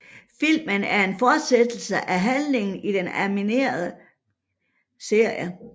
Filmen er en fortsættelse af handlingen i den animerede serie